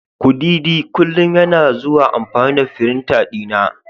kudidi kullum yana zuwa amfani da firinta dina.